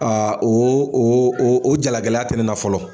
o o o o jalagɛlɛya tɛ ne na fɔlɔ.